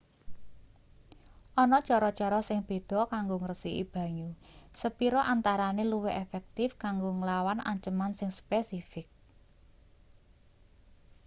ana cara-cara sing beda kanggo ngresiki banyu sepira antarane luwih efektif kanggo nglawan anceman sing spesifik